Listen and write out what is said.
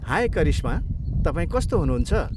हाय करिश्मा, तपाईँ कस्तो हुनुहुन्छ?